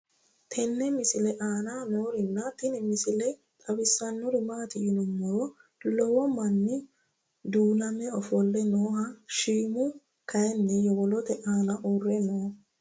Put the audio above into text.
tenne misile aana noorina tini misile xawissannori maati yinummoro lowo manni duunnamme ofolle noohu shiimmu kayiinni yowolootte aanna uure noo